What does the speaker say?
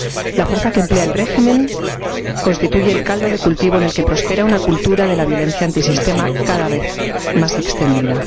La fuerza que emplea el régimen constituye el caldo de cultivo en el que prospera una cultura de violencia antisistema cada vez más extendida.